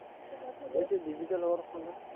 digital হবার ফলে